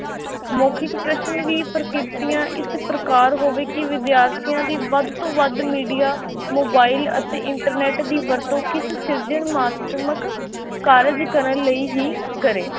ਮੌਖਿਕ ਪ੍ਰਸ਼ਨ ਵੀ ਪ੍ਰਕਿਰਤੀਆਂ ਇਸ ਪ੍ਰਕਾਰ ਹੋਵੇ ਕਿ ਵਿਦਿਆਰਥੀਆਂ ਦੀ ਵੱਧ ਤੋਂ ਵੱਧ media, mobile ਅਤੇ internet ਦੀ ਵਰਤੋਂ ਕਿਸ ਸਿਰਜਣਾਤਮਕ ਕਾਰਜ ਕਰਨ ਲਈ ਹੀ ਕਰੇ।